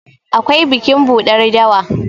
akwai bikin buɗar dawa